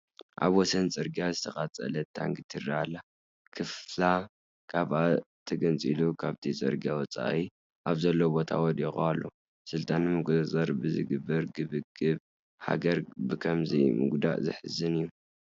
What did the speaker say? ኣብ ወሰን ፅርጊያ ዝተቓፀለት ታንኪ ትርአ ኣላ፡፡ ክፋላ ካብኣ ተገንፂሉ ካብቲ ፅርጊያ ወፃኢ ኣብ ዘሎ ቦታ ወዲቑ ኣሎ፡፡ ስልጣን ንምቁፅፃር ብዝግበር ግብግብ ሃገር ብኸምዚ ምጉድኣ ዘሕዝን እዩ፡፡